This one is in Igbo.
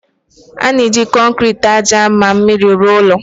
A na-eji kọnkịtị, ájá na mmiri rụọ ụlọ